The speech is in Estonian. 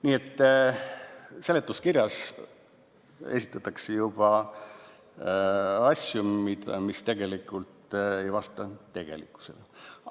Nii et juba seletuskirjas esitatakse asju, mis ei vasta tegelikkusele.